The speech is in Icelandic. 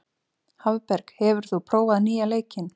Hafberg, hefur þú prófað nýja leikinn?